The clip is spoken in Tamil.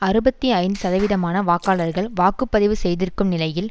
அறுபத்தி ஐந்து சதவீதமான வாக்காளர்கள் வாக்கு பதிவு செய்திருக்கும் நிலையில்